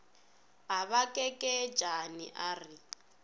a ba kekeetšane a re